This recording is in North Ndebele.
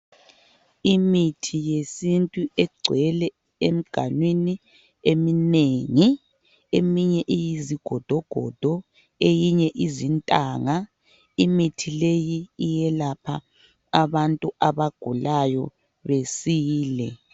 Imithi yesintu egcwele emganwini eminengi eminye iyizigodogodo eminye iyizintanga imithi leyi iyelapha abantu abagulayo besile.